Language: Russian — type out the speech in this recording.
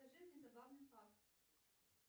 скажи мне забавный факт